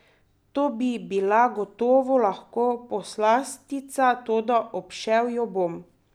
To bi bila gotovo lahko poslastica, toda obšel jo bom.